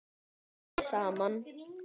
Hnoðið saman.